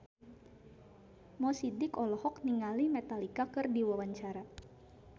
Mo Sidik olohok ningali Metallica keur diwawancara